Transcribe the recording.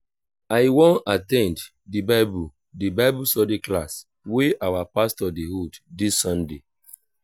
i wan at ten d the bible the bible study class wey our pastor dey hold dis sunday